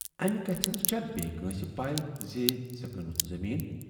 "امہِ کتھِ ہٕنز چھا بییہ کٲنسہِ پےَ زِ ژےٚ کٕنِتھ زمیٖن؟